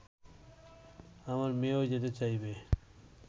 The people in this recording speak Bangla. আমার মেয়েও যেতে চাইবে